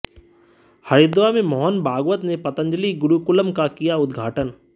हरिद्वार में मोहन भागवत ने पतंजलि गुरुकुलम का किया उद्घाटन